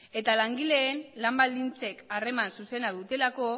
eta langileen lan baldintzek harreman zuzena dutelako